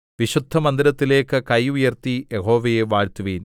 വിശുദ്ധമന്ദിരത്തിലേക്ക് കൈ ഉയർത്തി യഹോവയെ വാഴ്ത്തുവിൻ